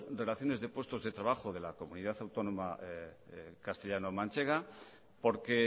donaciones de puestos de trabajo de la comunidad autónoma castellano manchega porque